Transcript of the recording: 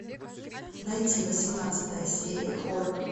найти восемнадцатая серия хор